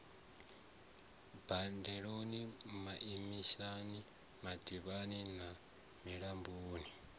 bambela maishani mativhani na milamboni